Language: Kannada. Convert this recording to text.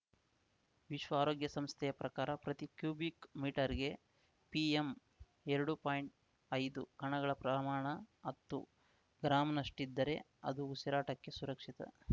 ವಿಶ್ವ ಆರೋಗ್ಯ ಸಂಸ್ಥೆಯ ಪ್ರಕಾರ ಪ್ರತಿ ಕ್ಯೂಬಿಕ್‌ ಮೀಟರ್‌ಗೆ ಪಿಎಂಎರಡುಪಾಯಿಂಟ್ಐದು ಕಣಗಳ ಪ್ರಮಾಣ ಹತ್ತು ಗ್ರಾಮ್‌ನಷ್ಟಿದ್ದರೆ ಅದು ಉಸಿರಾಟಕ್ಕೆ ಸುರಕ್ಷಿತ